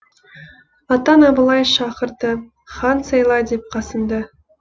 атаң абылай шақырды хан сайла деп қасымды